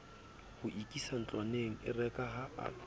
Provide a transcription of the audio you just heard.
ho ikisa ntlwaneng erekaha a